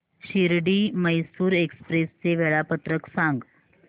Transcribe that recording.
Shirdi Mysore express चे वेळापत्रक सांग